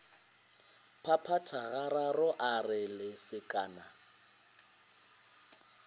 phaphatha gararo a re lesekana